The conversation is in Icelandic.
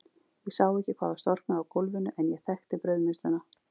Ég sá ekki hvað var storknað á gólfinu, en ég þekkti brauðmylsnuna.